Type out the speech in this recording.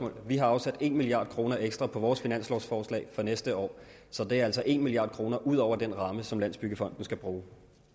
vi har afsat en milliard kroner ekstra på vores finanslovforslag for næste år så det er altså en milliard kroner ud over den ramme som landsbyggefonden skal bruge